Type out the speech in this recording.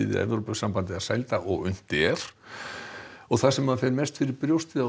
við Evrópusambandið að sæla og unnt er það sem fer mest fyrir brjóstið á